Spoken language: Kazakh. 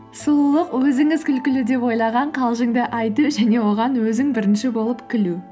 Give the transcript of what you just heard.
сұлулық өзіңіз күлкілі деп ойлаған қалжыңды айту және оған өзің бірінші болып күлу